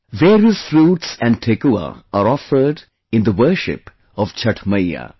Various fruits and Thekua are offered in the worship of Chhath Maiya